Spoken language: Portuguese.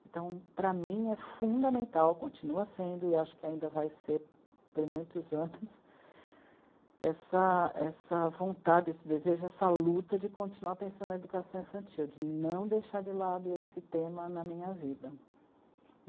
Então, para mim, é fundamental, continua sendo, e acho que ainda vai ser por muitos anos, essa, essa vontade, esse desejo, essa luta de continuar pensando na educação infantil, de não deixar de lado esse tema na minha vida.